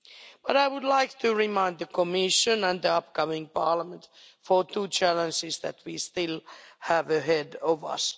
But I would like to remind the Commission and the upcoming Parliament of two challenges that we still have ahead of us.